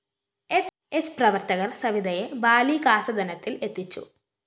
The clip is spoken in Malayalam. സ്‌ പ്രവര്‍ത്തകര്‍ സവിതയെ ബാലികാസദനത്തില്‍ എത്തിച്ചു